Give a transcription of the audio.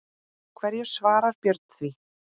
Hverju svarar Björn því?